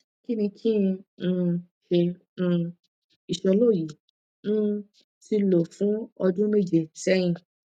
kini kin um se um isolo yi um ti lo fun odun meje seyin